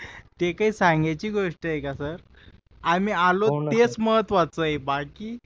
ते काय सांगायची गोष्ट आहे का सर आम्ही आलो तेच महत्वाचं आहे बाकी